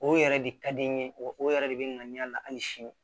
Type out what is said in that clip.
O yɛrɛ de ka di n ye o o yɛrɛ de bɛ n na hali sini